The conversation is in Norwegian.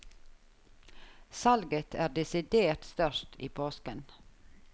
Salget er desidert størst i påsken.